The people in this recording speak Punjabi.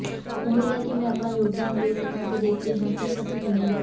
ਉਮੀਦ ਹੈ ਕਿ ਮੈਂ ਆਪਣਾ ਯੋਗਦਾਨ ਦੇ ਸਕਾਂ ਤੇ ਦੇਖਦੇ ਹਾਂ ਕਿ ਅਸੀਂ ਕਿੰਨੇ ਮ